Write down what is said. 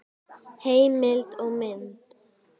Heimild og mynd